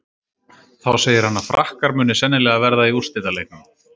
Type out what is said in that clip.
Þá segir hann að Frakkar muni sennilega verða í úrslitaleiknum.